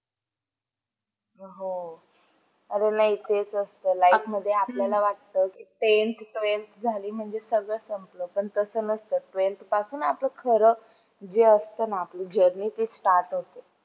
अ चिपळूण हे एक छोटासा गावे आहे कोकणातील चिपळूण म्हटल्यावर famous कोकण म्हटल्यावर आंबे काजू पेरू चालूच असतात आणि जर म्हटलं तर बरेचसे पर्यटक स्थळ इकडेच आहेत.